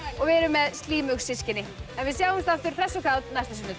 og við erum með systkini en við sjáumst aftur hress og kát næsta sunnudag